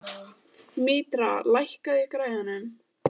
Mítra, lækkaðu í græjunum.